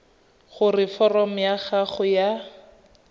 gore foromo ya gago ya